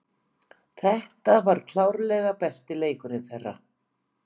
Þetta var klárlega besti leikurinn þeirra.